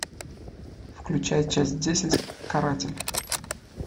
включай часть десять каратель